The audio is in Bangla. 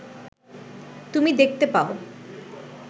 তুমি দেখতে পাও